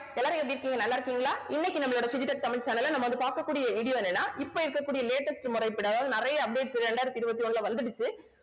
எல்லாரும் எப்படி இருக்கீங்க நல்லா இருக்கீங்களா இன்னைக்கு நம்மளோட டிஜிடெக் தமிழ் channel ல நம்ம வந்து பார்க்கக் கூடிய video என்னன்னா இப்ப இருக்கக்கூடிய latest முறைப்படி அதாவது நிறைய updates இரண்டாயிரத்தி இருவத்தி ஒண்ணுல வந்துடுச்சு